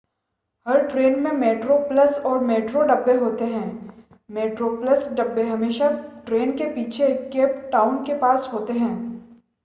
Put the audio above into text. हर train में metro plus और metro डब्बे होते हैं मेट्रो प्लस डब्बे हमेशा ट्रेन के पीछे केप टाउन के पास होते हैं